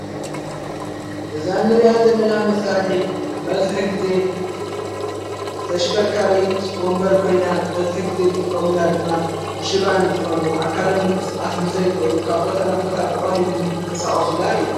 እዛ ንርኣት ዘለና መሣርሒት በዝኂ ጊዜ ተሽከርካሪት ወንበር ኮይና በዝኂ ጊዜ ዝጥቆምላ ድማ ሽባን ዝኾኑ ኣካሎም ምንቅሥቓስ ንዘይኽእሉ ካብቦታ ነቦታ ብቐሊሉ ንክንቀሳቐሱላ እያ።